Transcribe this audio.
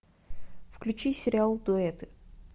включи сериал дуэты